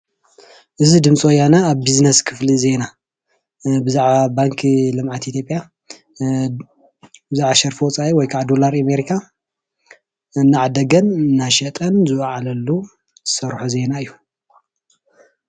እዚ ድምፀ ወያነ ኣብ ቢዝነስ ክፍሊ ዜና ብዛዕባ ባንኪ ልምዓት ኢትዮጵያ ብዛዕባ ሸርፊ ወፃኢ ወይካዓ ዶላር ኣሜሪካ እናዓደገን እናሸጠን ዝወዓለሉ ዝሰርሖ ዜና እዩ።